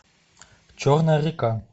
черная река